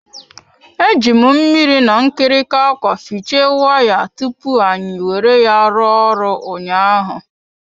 Eji m mmiri na nkirika akwa fiche wire tupu anyi were ya rụọ ọrụ ụnyaahụ.